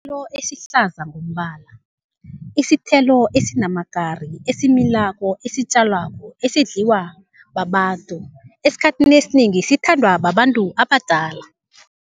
Sithelo esihlaza ngombala, isithelo esinamakari, esimilako, esitjalwako, esidliwa babantu, esikhathini esinengi sithandwa babantu abadala.